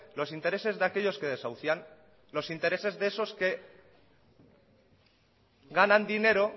los intereses de aquellos que desahucian los intereses de esos que ganan dinero